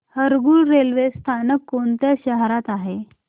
Harangul railway स्थानक कोणत्या शहरात आहे